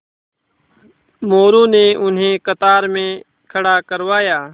मोरू ने उन्हें कतार में खड़ा करवाया